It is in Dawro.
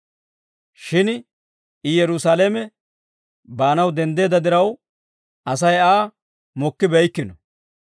Shin I Yerusaalame baanaw denddeedda diraw, Asay Aa mokkibeykkino.